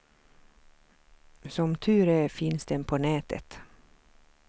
Som tur är finns den på nätet.